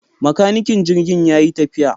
Makanikin jirgin yayi tafiya